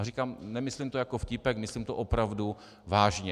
A říkám, nemyslím to jako vtípek, myslím to opravdu vážně.